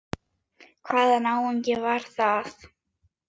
Hvaða náungi var það?